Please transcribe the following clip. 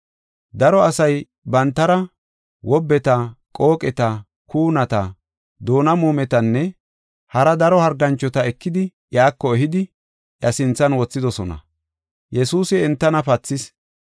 Daro asay bantara, wobbeta, qooqeta, kuunata, doona muumetanne, hara daro harganchota ekidi, iyako ehidi iya sinthan wothidosona. Yesuusi entana pathis.